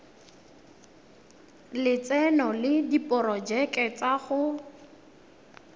lotseno le diporojeke tsa go